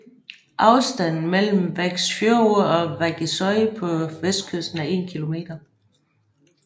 Afstanden mellem Vágsfjørður og Vágseiði på vestkysten er 1 km